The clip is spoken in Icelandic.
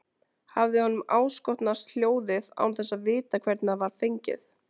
Hafði honum áskotnast hjólið án þess að vita hvernig það var fengið?